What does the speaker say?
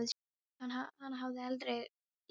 Hana hafði ég aldrei leyft mér.